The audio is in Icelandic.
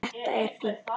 Þetta er fínt.